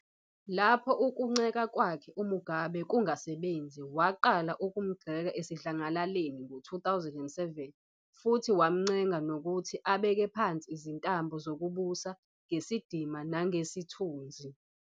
Lapho ukunceka kwakhe uMugabe kungasebenzi, waqala ukumgxeka esidlangalaleni ngo-2007, futhi wamncenga nokuthi abeke phansi izintambo zokubusa ngesidima nangesithunzi."